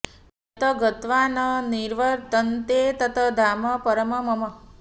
यत् गत्वा न निवर्तन्ते तत् धाम परमम् मम